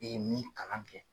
E ye min kalan kɛ.